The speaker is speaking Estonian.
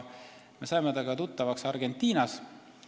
Me saime temaga tuttavaks Argentinas.